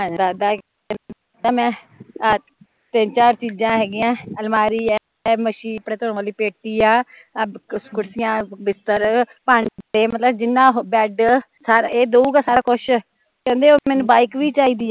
ਦਾਦਾ ਕਹਿਦਾ ਮੈਂ ਤਿੰਨ ਚਾਰ ਚੀਜ਼ਾਂ ਹੈਗੀਆ ਅਲਮਾਰੀ ਐ, ਮਸ਼ੀਨ ਕੱਪੜੇ ਧੋਣ ਵਾਲੀ, ਪੇਟੀ ਆ, ਆਹ ਕੁਰਸੀਆ, ਬਿਸਤਰ, ਭਾਂਡੇ ਮਤਲਬ ਜਿੰਨਾ ਬੈਡ ਏਹ, ਏਹ ਦਊਗਾ ਸਾਰਾ ਕੁਸ਼, ਕਹਿਦੀ ਮੈਂਨੂ ਬਾਈਕ ਵੀ ਚਾਹੀਦੀ ਐ